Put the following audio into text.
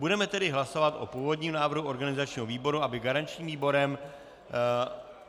Budeme tedy hlasovat o původním návrhu organizačního výboru, aby garančním výborem...